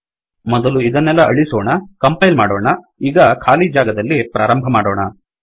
ಮೊದಲು ಇದನ್ನೆಲ್ಲ ಅಳಿಸಿಕೊಳ್ಳೋಣ ಕಂಪೈಲ್ ಮಾಡೋಣ ಈಗ ಖಾಲಿ ಜಾಗದಲ್ಲಿ ಪ್ರಾರಂಭ ಮಾಡೋಣ